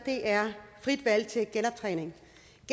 er frit valg til genoptræning genoptræning